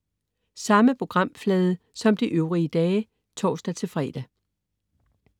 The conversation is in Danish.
Samme programflade som de øvrige dage (tors-fre)